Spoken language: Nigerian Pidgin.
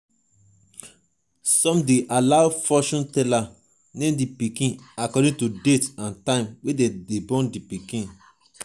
some de allow fortune teller name di pikin according to date and time wey dem born di pikin